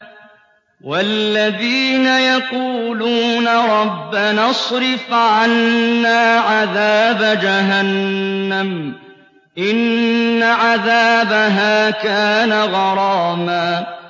وَالَّذِينَ يَقُولُونَ رَبَّنَا اصْرِفْ عَنَّا عَذَابَ جَهَنَّمَ ۖ إِنَّ عَذَابَهَا كَانَ غَرَامًا